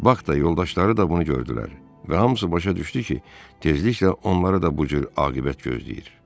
Bak da yoldaşları da bunu gördülər və hamısı başa düşdü ki, tezliklə onları da bu cür aqibət gözləyir.